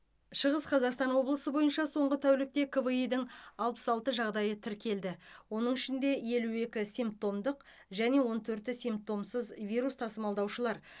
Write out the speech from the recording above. шығыс қазақстан облысы бойынша соңғы тәулікте кви дің алпыс алты жағдайы тіркелді оның ішінде елу екі симптомдық және он төрті симптомсыз вирус тасымалдаушылар